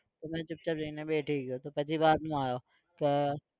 તો મેં ચુપચાપ જઇને બેઠી ગયો તો પછી બાદમાં આવ્યો કે